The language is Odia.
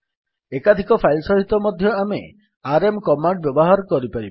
ଏକାଧିକ ଫାଇଲ୍ ସହିତ ମଧ୍ୟ ଆମେ ଆରଏମ୍ କମାଣ୍ଡ୍ ବ୍ୟବହାର କରିପାରିବା